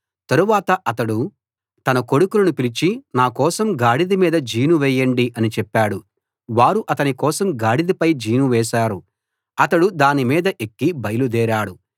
తరువాత అతడు తన కొడుకులను పిలిచి నాకోసం గాడిద మీద జీను వేయండి అని చెప్పాడు వారు అతని కోసం గాడిదపై జీను వేశారు అతడు దాని మీద ఎక్కి బయలుదేరాడు